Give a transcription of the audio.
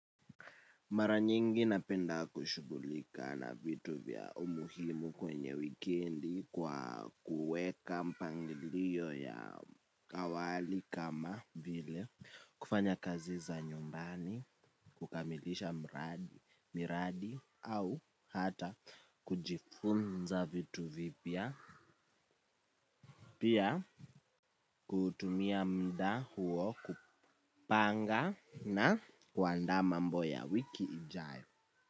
Mara nyingi napenda kushugulika na vitu vya umuhimu kwenye wikendi kwa kueka mpangilio ya kawali kama vile, kufanya kazi za nyumbani, kukamilisha miradi au hata kujifunza vitu vipya, pia kutumia mda huo kupanga na kuandaa mambo ya wiki ijayo.